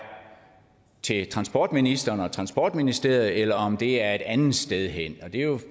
til transportministeren og transportministeriet eller om det er et andet sted hen og det er jo